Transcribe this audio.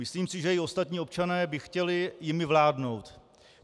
Myslím si, že i ostatní občané by chtěli jimi vládnout.